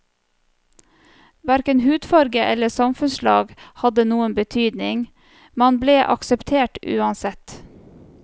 Hverken hudfarge eller samfunnslag hadde noen betydning, man ble akseptert uansett.